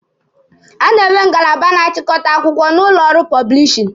A na-enwe ngalaba na-achịkọta akwụkwọ n'ụlọ ọrụ pọblishin.